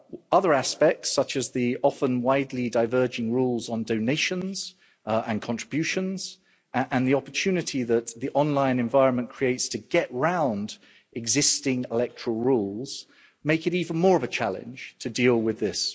Other aspects, such as the often widely diverging rules on donations and contributions, and the opportunity that the online environment creates to get round existing electoral rules make it even more of a challenge to deal with this.